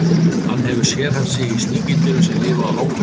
Hann hefur sérhæft sig í sníkjudýrum sem lifa á hákörlum.